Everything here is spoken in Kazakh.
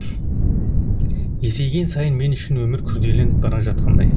есейген сайын мен үшін өмір күрделеніп бара жатқандай